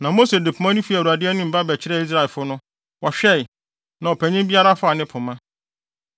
Na Mose de pema no fii Awurade anim ba bɛkyerɛɛ Israelfo no. Wɔhwɛe, na ɔpanyin biara faa ne pema.